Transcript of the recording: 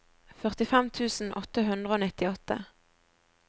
førtifem tusen åtte hundre og nittiåtte